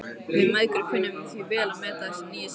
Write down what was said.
Við mæðgur kunnum því vel að meta þessa nýju sambýlinga.